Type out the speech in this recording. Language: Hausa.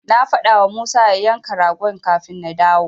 Na faɗawa Musa ya yanka ragon kafin na dawo.